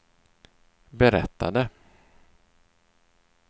berättade